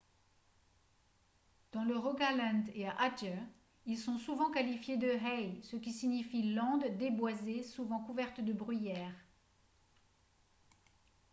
dans le rogaland et à adger ils sont souvent qualifiés de « hei » ce qui signifie landes déboisées souvent couvertes de bruyère